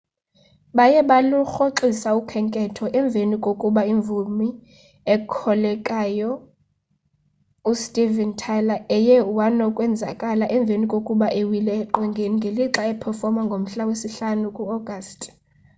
baye balurhoxisa ukhenketho emveni kokuba imvumi ekhokhelayo u steven tyler eye wanokwenzakala emveni kokuba ewile eqongeni ngelixa uphefoma ngomhla we sihlanu ku augusti